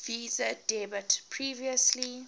visa debit previously